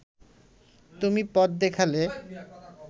তুমি পথ দেখালে